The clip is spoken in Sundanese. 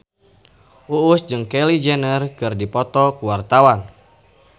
Uus jeung Kylie Jenner keur dipoto ku wartawan